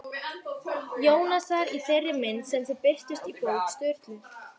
Jónasar í þeirri mynd sem þau birtust í bók Sturlu?